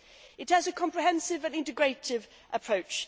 It has a comprehensive and integrative approach.